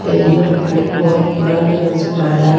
यह पुल बहुत पुराना नजर आ रहा है।